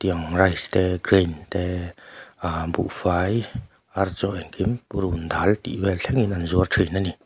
rice te grain te ah buhfai ar chaw engkim purun dal tih vel thlengin an zuar thin ani.